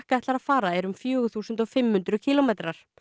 ætlar að fara er um fjögur þúsund fimm hundruð kílómetrar